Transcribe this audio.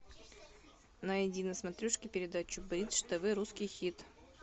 найди на смотрешке передачу бридж тв русский хит